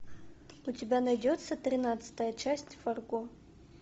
у тебя найдется тринадцатая часть фарго